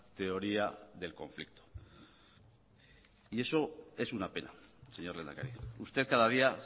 teoría del conflicto y eso es una pena señor lehendakari usted cadadía